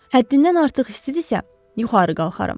Həddindən artıq istidirsə, yuxarı qalxaram.